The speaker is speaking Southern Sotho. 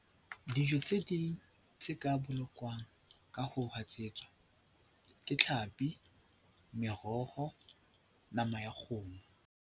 Dijo tse ding tse ka bolokwang ka ho hatsetswa ke tlhapi, meroho, nama ya kgomo.